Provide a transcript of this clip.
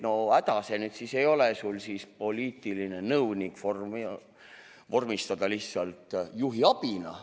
No häda see nüüd siis ei ole sul poliitiline nõunik vormistada lihtsalt juhiabiks.